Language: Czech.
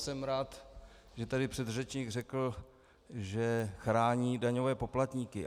Jsem rád, že tady předřečník řekl, že chrání daňové poplatníky.